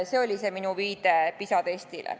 See oli minu viide PISA testile.